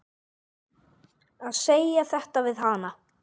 Að segja þetta við hana.